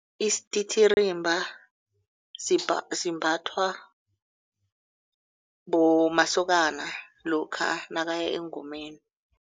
Isititirimba simbathwa masokana lokha nakaya engomeni.